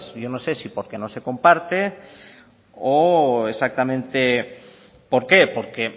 yo no sé si porque no se comparte o exactamente por qué porque